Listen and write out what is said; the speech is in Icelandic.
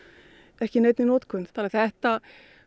ekki í neinni notkun það þetta